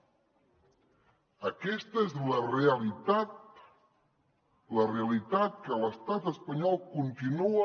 aquesta és la realitat la realitat que l’estat espanyol continua